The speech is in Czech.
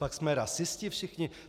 Copak jsme rasisti všichni?